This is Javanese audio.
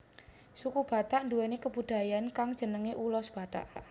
Suku Batak nduwèni kabudayaan kang jenengé ulos Batak